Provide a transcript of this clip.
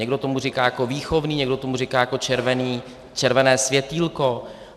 Někdo tomu říká jako výchovný, někdo tomu říká jako červené světýlko.